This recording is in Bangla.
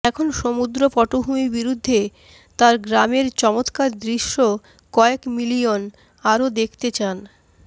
এখন সমুদ্র পটভূমি বিরুদ্ধে তার গ্রামের চমত্কার দৃশ্য কয়েক মিলিয়ন আরো দেখতে চান